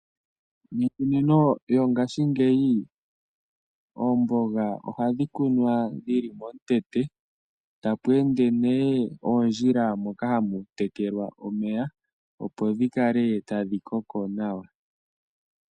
Miikunino yongashingeyi oomboga ohadhi kunwa dhi li melandulatho tapu ende nduno oondjila moka hamu tekelwa, opo dhi kale tadhi koko nawa.